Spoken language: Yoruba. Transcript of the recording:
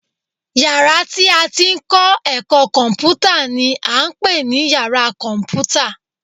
Yàrá tí a ti ń kọ́ ẹ̀kọ́ kọ̀m̀pútà ni à ń pè ní yàra kọ̀m̀pútà